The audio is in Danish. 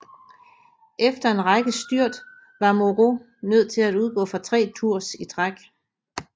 Efter en række styrt var Moreau nødt til at udgå fra tre Tours i træk